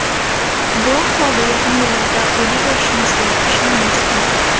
Bu ahvolda yaqin yillarda uyli bo‘lishimizga ishonmasdim.